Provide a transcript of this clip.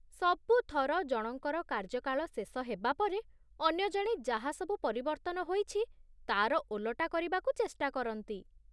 ସବୁଥର ଜଣଙ୍କର କାର୍ଯ୍ୟକାଳ ଶେଷ ହେବା ପରେ, ଅନ୍ୟ ଜଣେ ଯାହା ସବୁ ପରିବର୍ତ୍ତନ ହୋଇଛି ତା'ର ଓଲଟା କରିବାକୁ ଚେଷ୍ଟା କରନ୍ତି ।